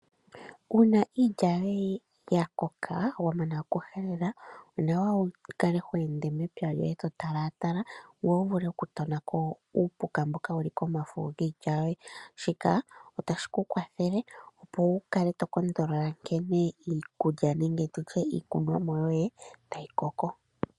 Uuna iilya yoye yakoka wamana ikuhelela onawa wu kale hweende pepya lyoye totalatala ngoye wuvule okutonako uupuka mboka wuli komafo giilya yoye. Shika otashi kukwathele, opo wukale tokondolola nkene iikunomwa yoye tayi koko.